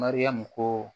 Mariyamu ko